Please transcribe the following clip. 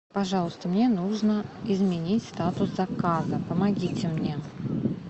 пожалуйста мне нужно изменить статус заказа помогите мне